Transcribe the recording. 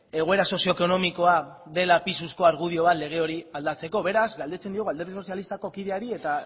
egoera sozioekonomikoa dela pisuzko argudio bat lege hori aldatzeko beraz galdetzen diogu alderdi sozialistako kideari eta